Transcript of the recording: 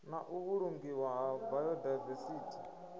na u vhulungiwa ha biodivesithi